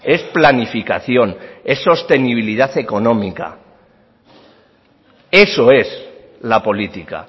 es planificación es sostenibilidad económica eso es la política